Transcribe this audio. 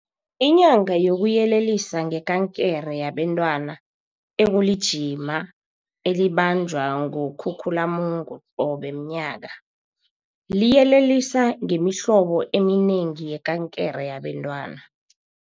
Inyanga yokuyelelisa ngeKankere yabeNtwana, ekulijima elibanjwa ngoKhukhulamungu qobe mnyaka, liyelelisa ngemihlobo eminengi yekankere yabentwana.